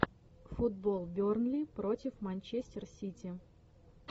футбол бернли против манчестер сити